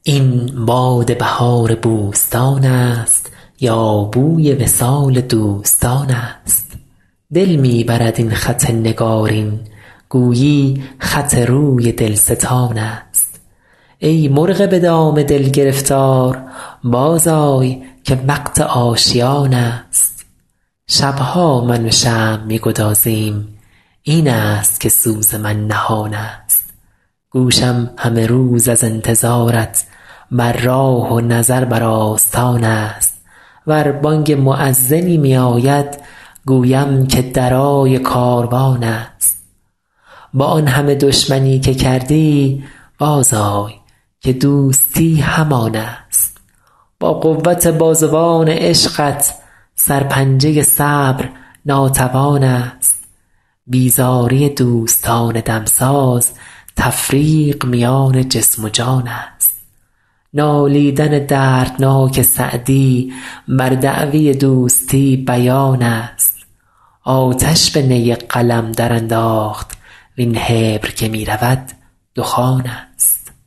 این باد بهار بوستان است یا بوی وصال دوستان است دل می برد این خط نگارین گویی خط روی دلستان است ای مرغ به دام دل گرفتار بازآی که وقت آشیان است شب ها من و شمع می گدازیم این است که سوز من نهان است گوشم همه روز از انتظارت بر راه و نظر بر آستان است ور بانگ مؤذنی میاید گویم که درای کاروان است با آن همه دشمنی که کردی بازآی که دوستی همان است با قوت بازوان عشقت سرپنجه صبر ناتوان است بیزاری دوستان دمساز تفریق میان جسم و جان است نالیدن دردناک سعدی بر دعوی دوستی بیان است آتش به نی قلم درانداخت وین حبر که می رود دخان است